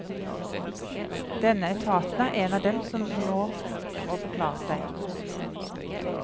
Denne etaten er en av dem som nå må forklare seg.